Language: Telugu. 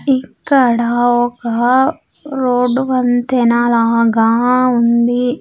ఇక్కడ ఒక రోడ్డు వంతెన లాగా ఉంది.